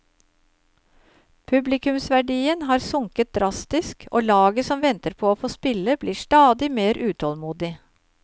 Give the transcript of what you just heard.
Publikumsverdien har sunket drastisk, og laget som venter på å få spille blir stadig mer utålmodig.